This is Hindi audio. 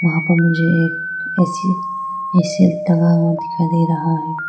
यहां पर मुझे एक ऐ_सी ऐ_सी टंगा हुआ दिखाई दे रहा है।